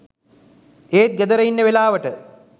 ඒත් ගෙදර ඉන්න වෙලාවට